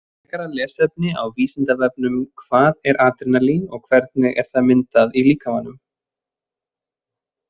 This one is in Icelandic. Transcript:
Frekara lesefni á Vísindavefnum Hvað er adrenalín og hvernig er það myndað í líkamanum?